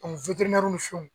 ni fɛnw